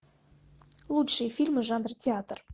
лучшие фильмы жанра театр